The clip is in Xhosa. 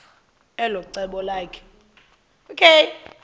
elo cebo lakhe